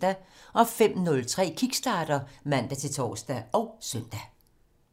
05:03: Kickstarter (man-tor og søn)